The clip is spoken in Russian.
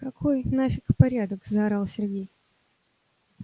какой нафик порядок заорал сергей